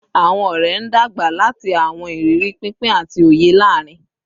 Awọn ọrẹ n dagba lati awọn iriri pinpin ati oye laarin